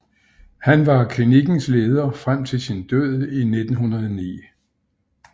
Han var klinikkens leder frem til sin død i 1909